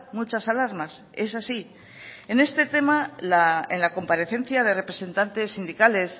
muchas alarmas es así en este tema en la comparecencia de representantes sindicales